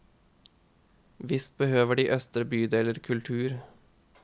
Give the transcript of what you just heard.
Visst behøver de østre bydeler kultur.